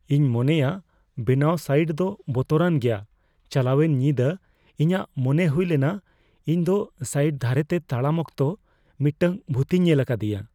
ᱤᱧ ᱢᱚᱱᱮᱭᱟ ᱵᱮᱱᱟᱣ ᱥᱟᱭᱤᱴ ᱫᱚ ᱵᱚᱛᱚᱨᱟᱱ ᱜᱮᱭᱟ ᱾ ᱪᱟᱞᱟᱣᱮᱱ ᱧᱤᱫᱟᱹ ᱤᱧᱟᱜ ᱢᱚᱱᱮ ᱦᱩᱭ ᱞᱮᱱᱟ ᱤᱧ ᱫᱚ ᱥᱟᱭᱤᱴ ᱫᱷᱟᱨᱮᱛᱮ ᱛᱟᱲᱟᱢ ᱚᱠᱛᱚ ᱢᱤᱫᱴᱟᱝ ᱵᱷᱩᱛᱤᱧ ᱧᱮᱞ ᱟᱠᱟᱫᱤᱭᱟ ᱾